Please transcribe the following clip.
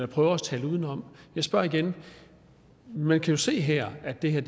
prøver at tale udenom jeg spørger igen man kan jo se her at det er